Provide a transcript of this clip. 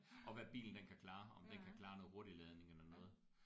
Og hvad bilen den kan klare om den kan klare noget hurtigladning eller noget